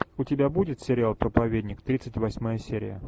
у тебя будет сериал проповедник тридцать восьмая серия